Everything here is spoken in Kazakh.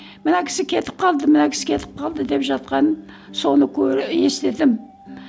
мына кісі кетіп қалды мына кісі кетіп қалды деп жатқанын соны естідім